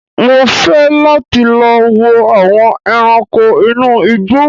Mò fẹ́ láti lọ wo àwọn ẹranko inú igbó